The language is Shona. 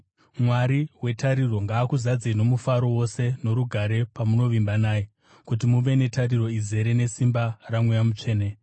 Mwari wetariro ngaakuzadzei nomufaro wose norugare pamunovimba naye, kuti muve netariro izere, nesimba raMweya Mutsvene.